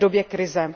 v době krize.